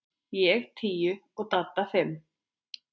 Ég tíu og Dadda fimm.